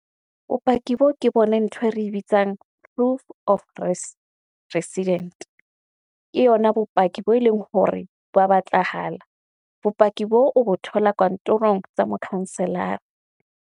Bopaki boo ke boneng ntho e re bitsang proof of resident, ke yona bopaki bo e leng hore ba batlahala, bopaki bo o bo thola kantorong tsa mokhanselara.